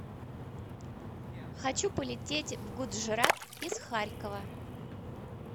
хочу полететь в гуджрат из харькова